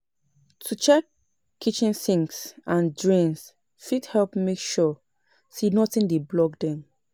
To check kitchen sinks and drains fit help make sure say nothing dey block dem